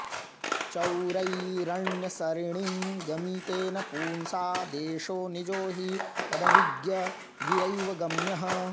चोरैरण्यसरिणीं गमितेन पुंसा देशो निजो हि तदभिज्ञगिरैव गम्यः